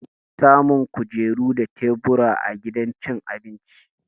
Ana samun kujeru da tebur a gidan cin abinci